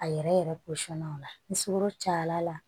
A yɛrɛ yɛrɛ posɔn na ola ni sukaro cayala